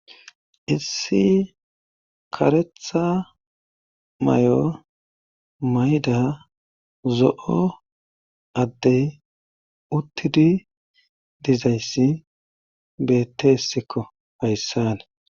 issi karetha may7o mayda zo7o addey uttidi dizayssi betteesikko hayssani